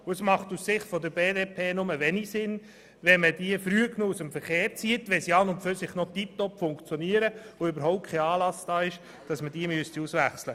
Es macht aus Sicht der BDP nur wenig Sinn, wenn man sie zu früh aus dem Verkehr zieht, das heisst, wenn sie noch tipptopp funktionieren und kein Anlass besteht, sie auszuwechseln.